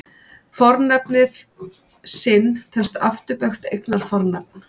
Fornafnið sinn telst afturbeygt eignarfornafn.